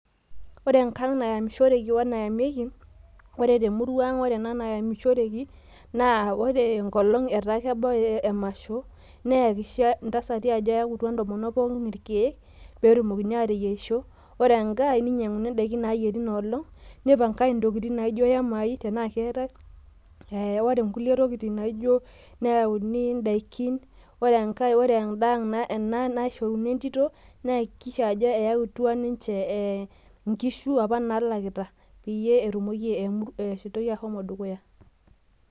Ore enkata nayamishoreki wenayamiki ore temuruang' naa ore enkolong' etaa kebau emasho nayakikisha intasati ajo ayawutwa intomonok pooki irkeek, pee etumokini aateyierishore ninyang'uni idakin naayieri inolong', nipang'ae intokitin naaijo iyamai tenaa keetae, ore enaang' nashorini entito nayakikisha ajo eyawutwa inkishu apa naayau pee etumoki esiaai ahomo dukuya.